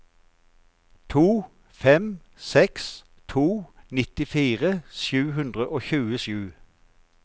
to fem seks to nittifire sju hundre og tjuesju